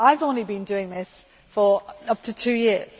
I have only been doing this for up to two years.